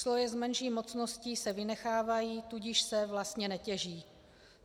Sloje s menší mocností se vynechávají, tudíž se vlastně netěží.